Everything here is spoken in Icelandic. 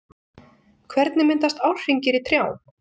Hvernig myndast árhringir í trjám?